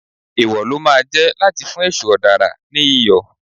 Èwò ló máa jẹ́ láti fún èṣù ọ̀dàrà ní Iyọ̀.